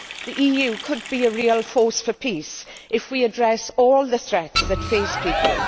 The EU could be a real force for peace if we address all the threats that face people.